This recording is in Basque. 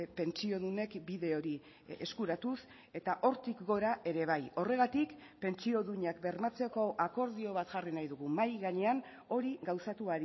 pentsiodunek bide hori eskuratuz eta hortik gora ere bai horregatik pentsio duinak bermatzeko akordio bat jarri nahi dugu mahai gainean hori gauzatu